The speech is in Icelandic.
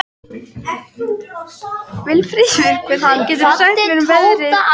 Vilfríður, hvað geturðu sagt mér um veðrið?